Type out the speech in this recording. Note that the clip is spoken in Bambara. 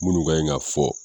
Minnu kan ɲi ka fɔ.